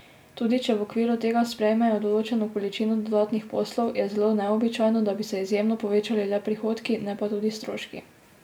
Tudi če v okviru tega sprejmejo določeno količino dodatnih poslov, je zelo neobičajno, da bi se izjemno povečali le prihodki, ne pa tudi stroški.